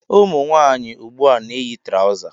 Ụmụnwanyị ugbua na- eyi trauzer